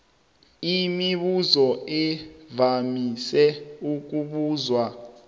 imibuzo evamise ukubuzwa